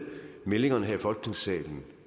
meldingerne her i folketingssalen